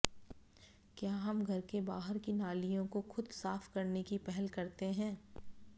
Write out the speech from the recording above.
क्या हम घर के बाहर की नालियों को खुद साफ करने की पहल करते हैं